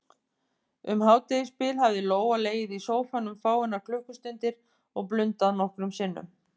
Um hádegisbil hafði Lóa legið í sófanum fáeinar klukkustundir og blundað nokkrum sinnum.